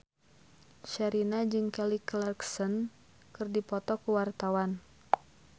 Sherina jeung Kelly Clarkson keur dipoto ku wartawan